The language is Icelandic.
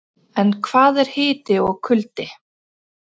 En hvað er hiti og kuldi?